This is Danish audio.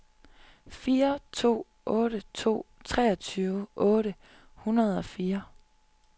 fire to otte to treogtyve otte hundrede og fire